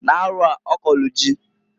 N'arọa, ọ kọlụ ji.